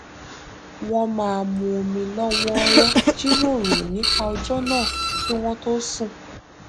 wọn máa mu omi lọwọọrọ jíròrò nípa ọjọ náà kí wọn tó sùn